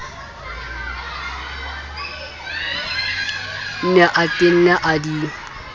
ne a tenne a di